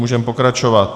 Můžeme pokračovat.